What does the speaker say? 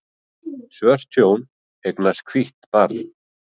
Svört hjón eignast hvítt barn